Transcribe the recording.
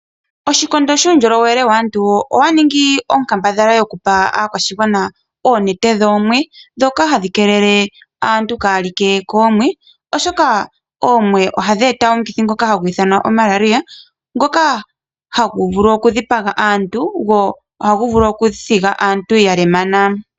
Oshikondo shuundjolowele waantu. Osha ningi onkambadhala okupa aakwashigwana oonete dhoomwe. Ndhoka hadhi keelele aantu kaaya like koomwe oshoka oomwe ohadhi eta omukithi ngoka hagu ithanwa Malaria. Ngoka hagu vulu oku dhipaga aantu go ohagu vulu oku thiga aantu ya lemana.